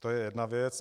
To je jedna věc.